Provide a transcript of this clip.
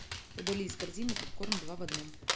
удали из корзины попкорн два в одном